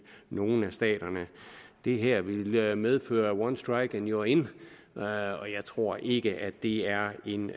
nogle af staterne det her ville medføre one strike and you are in og jeg tror ikke at det er en